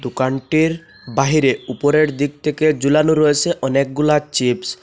দোকানটির বাহিরে উপরের দিক থেকে ঝুলানো রয়েসে অনেকগুলা চিপস ।